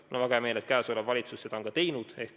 Mul on väga hea meel, et praegune valitsus on seda ka teinud.